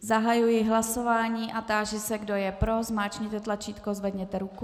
Zahajuji hlasování a táži se, kdo je pro, zmáčkněte tlačítko, zvedněte ruku.